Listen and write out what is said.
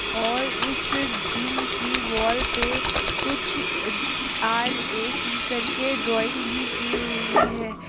और उस जिम के वॉल पे कुछ आर_ए_सी करके ड्राइंग भी की हुई है।